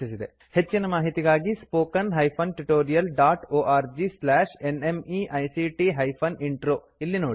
ಹೆಚ್ಚಿನ ಮಾಹಿತಿಗಾಗಿ spoken hyphen tutorial dot org slash NMEICT hyphen intro ಇಲ್ಲಿ ನೋಡಿ